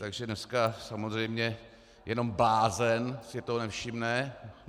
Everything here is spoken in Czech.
Takže dneska samozřejmě jenom blázen si toho nevšimne.